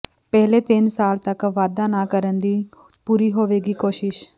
ਪਹਿਲੇ ਤਿੰਨ ਸਾਲ ਤਕ ਵਾਧਾ ਨਾ ਕਰਨ ਦੀ ਪੂਰੀ ਹੋਵੇਗੀ ਕੋਸ਼ਿਸ਼